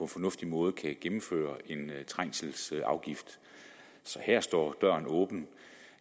fornuftig måde kan gennemføre en trængselsafgift så her står døren åben